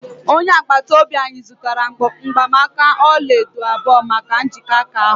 onye agbata obi anyị zụtara mgbanaka ọla edo abụọ maka njikọ aka ahụ